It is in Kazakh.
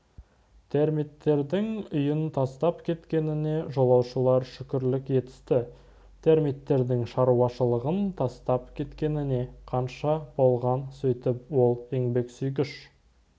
термиттердің үйін тастап кеткеніне жолаушылар шүкірлік етісті термиттердің шаруашылығын тастап кеткеніне қанша болған сөйтіп ол еңбексүйгіш